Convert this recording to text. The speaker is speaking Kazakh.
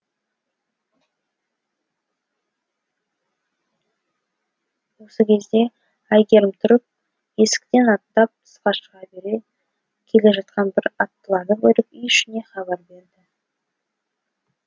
осы кезде әйгерім тұрып есіктен аттап тысқа шыға бере келе жатқан бір аттыларды көріп үй ішіне хабар берді